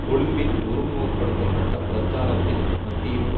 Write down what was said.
கொழும்பின் ஒருமுகப்படுத்தப்பட்ட பிரச்சாரத்தின் மத்தியிலும்